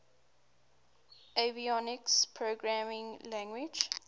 avionics programming language